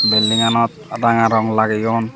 belding anot ranga rong lageyon.